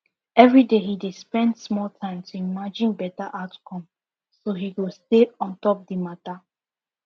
every day he dey spend small time to imagine better outcome so he go stay ontop the matter